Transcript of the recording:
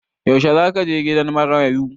Yaushe za ka je gidan marayu?